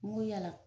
N ko yala